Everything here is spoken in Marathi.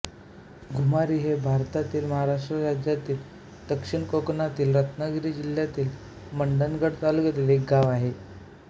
घुमारी हे भारतातील महाराष्ट्र राज्यातील दक्षिण कोकणातील रत्नागिरी जिल्ह्यातील मंडणगड तालुक्यातील एक गाव आहे